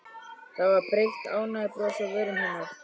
Það var breitt ánægjubros á vörum hennar.